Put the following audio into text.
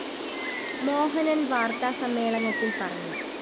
മോഹനന്‍ വാര്‍ത്താ സമ്മേളനത്തില്‍ പറഞ്ഞു